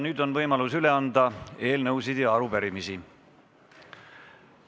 Nüüd on võimalus üle anda eelnõusid ja arupärimisi.